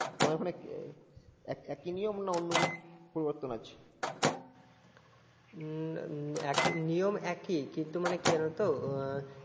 তোমাদের ওখানে আহ একই নিয়ম নাকি অন্য কিছু পরিবর্তন আছে? হম নিয়ম একই, কিন্তু মানে কেরো তো